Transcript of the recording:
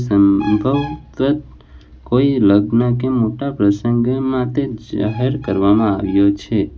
સંબંવગત કોઈ લગ્ન કે મોટા પ્રસંગ માટે જાહેર કરવામાં આવ્યો છે.